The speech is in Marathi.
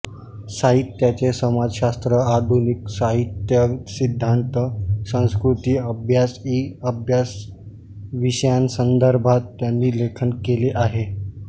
साहित्याचे समाजशास्त्र आधुनिक साहित्यसिद्धान्त संस्कृतिअभ्यास इ अभ्यासविषयांसंदर्भात त्यांनी लेखन केले आहे